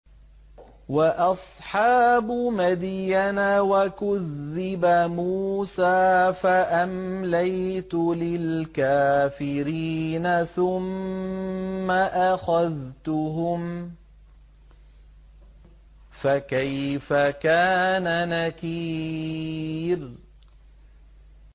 وَأَصْحَابُ مَدْيَنَ ۖ وَكُذِّبَ مُوسَىٰ فَأَمْلَيْتُ لِلْكَافِرِينَ ثُمَّ أَخَذْتُهُمْ ۖ فَكَيْفَ كَانَ نَكِيرِ